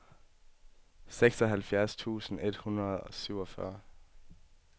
seksoghalvfjerds tusind et hundrede og syvogfyrre